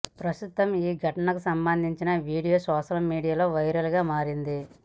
ప్రస్తుతం ఈ ఘటనకు సంబందించిన వీడియో సోషల్ మీడియాలో వైరల్ గా మారింది